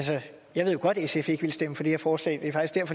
jeg ved godt at sf ikke vil stemme for det her forslag det